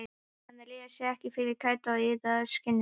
Hann réði sér ekki fyrir kæti og iðaði í skinninu.